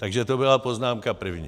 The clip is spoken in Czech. Takže to byla poznámka první.